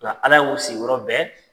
Nka ala y'u si sigiyɔrɔ bɛn